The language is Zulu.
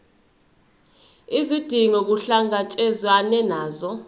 izidingo kuhlangatshezwane nazo